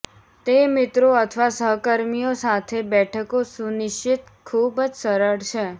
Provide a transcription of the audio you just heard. તે મિત્રો અથવા સહકર્મીઓ સાથે બેઠકો સુનિશ્ચિત ખૂબ જ સરળ છે